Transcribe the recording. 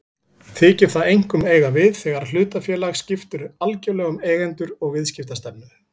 Þykir það einkum eiga við þegar hlutafélag skiptir algjörlega um eigendur og viðskiptastefnu.